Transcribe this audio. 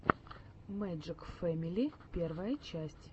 мэджик фэмили первая часть